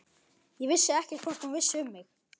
Ég vissi ekkert hvort hún vissi um mig.